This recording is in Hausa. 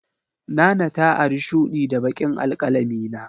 Nana ta ari shudi da baƙin alkalamina.